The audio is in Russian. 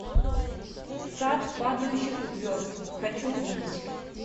сад падающих звезд хочу увидеть